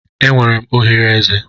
Enwere m oghere eze.